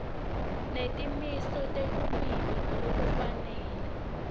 netimiso telulwimi ngalokufanele